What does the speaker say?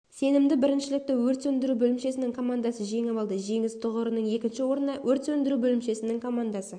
сенімді біріншілікті өрт сөндіру бөлімшесінің командасы жеңіп алды жеңіс тұғырының екінші орнына өрт сөндіру бөлімшесінің командасы